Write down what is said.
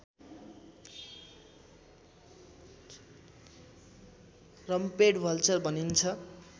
rumped vulture भनिन्छ